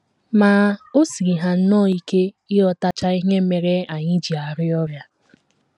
Ma, o siiri ha nnọọ ike ịghọtacha ihe mere anyị ji arịa ọrịa.